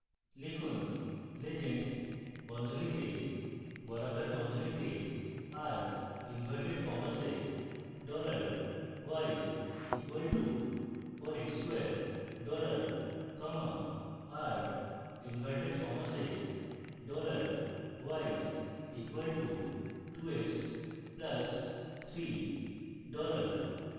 লিখুন legend বন্ধনীতে বর্গাকার বন্ধনীতে r inverted commas এ dollar y equal to 4 x square dollar commas r inverted commas এ dollar y equal to 2x plus 3 dollar